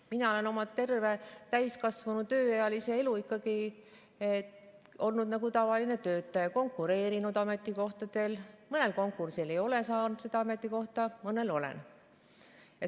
Mina olen oma terve täiskasvanu tööealise elu ikkagi olnud nagu tavaline töötaja: konkureerinud ametikohtadele, mõnel konkursil ei ole saanud soovitud ametikohta, mõnel olen.